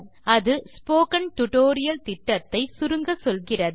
அது spoken tutorial திட்டத்தை சுருங்கச்சொல்கிறது